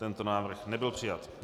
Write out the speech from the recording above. Tento návrh nebyl přijat.